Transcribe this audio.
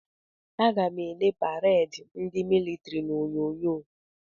Aga m ele pareedi ndị militiri n'Onyonyo.